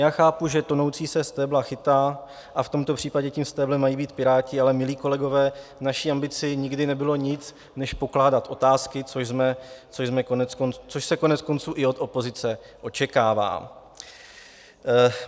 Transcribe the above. Já chápu, že tonoucí se stébla chytá, a v tomto případě tím stéblem mají být Piráti, ale milí kolegové, naší ambicí nikdy nebylo nic než pokládat otázky, což se koneckonců i od opozice očekává.